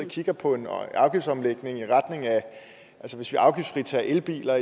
kigger på en afgiftsomlægning altså hvis vi afgiftsfritager elbiler